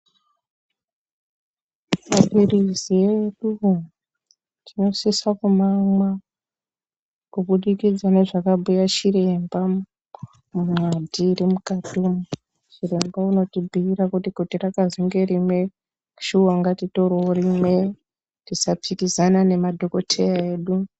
Maphirizi eduwo tinosise kumamwa kubudikidza nezvakabhuya chiremba, munwadhi iri mukati umwo. Chiremba unotibhuira kuti rakazwi ngerimwe, shuwa ngaritorewo rimwe. Tisapikisana nemadhokodheya edu.